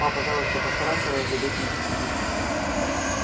па пожалуйста постарайся раздобыть мне сапоги